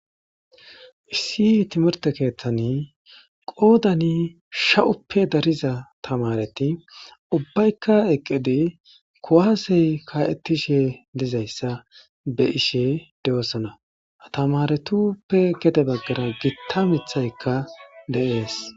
issi timirte keeththani qoodani sha'uppe dariza tamareti ubbaykka eqqedi kuwaase kaa'ettishe dizayssa be'ishe de'ossana ha tamaretuppe gede baggara gitta mithaykka de'ees